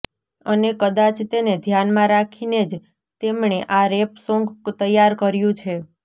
અને કદાચ તેને ધ્યાનમાં રાખીને જ તેમણે આ રેપ સોંગ તૈયાર કર્યું છે